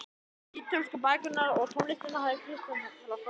Ítölskuna, bækurnar og tónlistina hafði Kristján frá Þórði